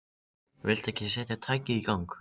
Viltu ekki setja tækið í gang.